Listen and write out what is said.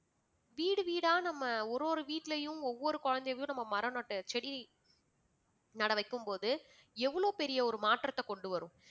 வீடு வீடா நம்ம ஒரு ஒரு வீட்டிலயும் ஒவ்வொரு குழந்தைகளயும் நம்ம மரம் நட்ட செடி நட வைக்கும்போது எவ்வளவு பெரிய ஒரு மாற்றத்தை கொண்டு வரும்